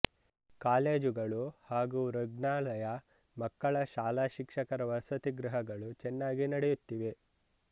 ಕಾಲೇಜುಗಳು ಹಾಗೂ ಋಗ್ಣಾಲಯ ಮಕ್ಕಳ ಶಾಲಾ ಶಿಕ್ಷಕರ ವಸತಿಗೃಹಗಳು ಚೆನ್ನಾಗಿ ನಡೆಯುತ್ತಿವೆ